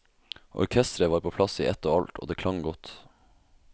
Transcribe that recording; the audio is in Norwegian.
Orkestret var på plass i ett og alt, og det klang godt.